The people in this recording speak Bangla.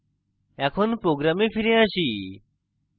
এখন program ফিরে আসি